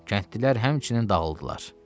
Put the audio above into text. Kəndlilər həmçinin dağıldılar.